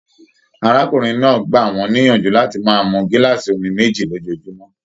Arákùnrin náà gbà wọn níyànjú láti máa mú gilaasi omí méjì lójoojúmọ́.